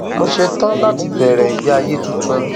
mo ṣetán láti bẹrẹ ìgbé ayé tuntun